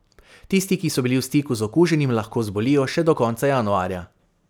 Tisti, ki so bili v stiku z okuženim, lahko zbolijo še do konca januarja.